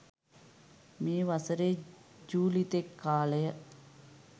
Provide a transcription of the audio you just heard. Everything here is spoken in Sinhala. මේ වසරේ ජූලි තෙක් කාලය